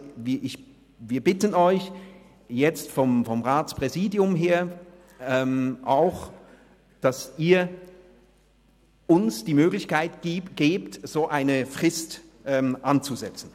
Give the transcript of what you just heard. Wir vom Ratspräsidium bitten Sie, uns die Möglichkeit zu geben, eine solche Frist anzusetzen.